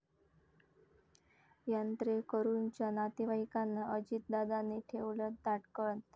यात्रेकरूंच्या नातेवाईकांना अजितदादांनी ठेवलं ताटकळत